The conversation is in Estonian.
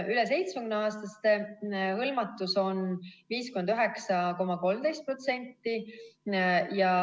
Üle 70-aastaste hõlmatus on 59,13%.